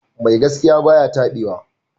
Mai gaskiya ba ya taɓewa.